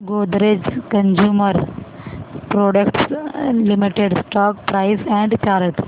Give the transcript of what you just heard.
Godrej consumer products limited stock price and chart